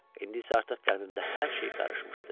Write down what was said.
İndi isə artıq qəlbimdə hər şey qarışmışdı.